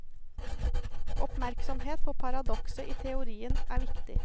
Oppmerksomhet på paradokset i teorien er viktig.